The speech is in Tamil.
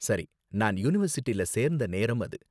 சரி, நான் யுனிவர்சிட்டில சேர்ந்த நேரம் அது.